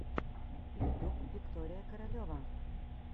ютюб виктория королева